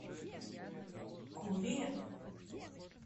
куре